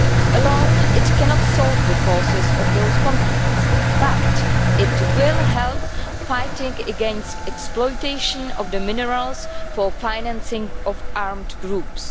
Alone, it cannot solve the causes of those conflicts, but it will help to fight against exploitation of minerals for the financing of armed groups.